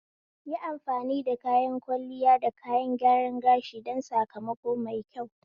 Yi amfani da kayan kwalliya da kayan gyaran gashi don sakamako mai kyau